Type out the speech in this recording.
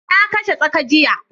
Na kashe tsaka jiya